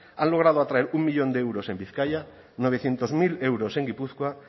han logrado atraer un millón de euros en bizkaia novecientos mil euros en gipuzkoa